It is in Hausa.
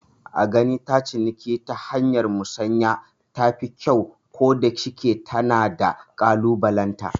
A gani ta ciniki ta hanyar musanya tafi kyau, ko da shike tana da kalubalenta